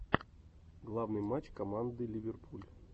главный матч команды ливерпуль